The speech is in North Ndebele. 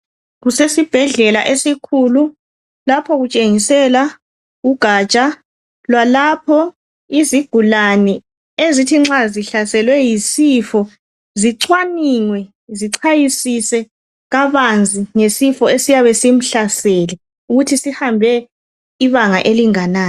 Kusesibhedlela esikhulu lapho kutshengisela ugatsha lwalapho izigulane ezithi nxa zihlaselwe yisifo zicwaningwe zichwayisise kabanzi ngesifo esiyabe simhlasele ukuthi sihambe ibanga elinganani.